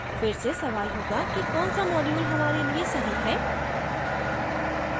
फिर से सवाल होगा कि कौन सा module हमारे लिए सही है